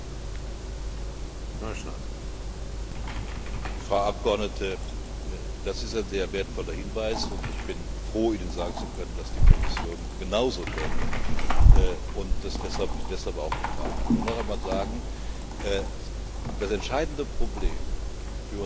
Frau Abgeordnete, das ist ein sehr wertvoller Hinweis, und ich bin froh, Ihnen sagen zu können, dass die Kommission genauso denkt und das deshalb auch getan hat. Ich will noch einmal sagen Das entscheidende Problem für unsere kleinen und mittleren Unternehmen besteht in der Tat darin,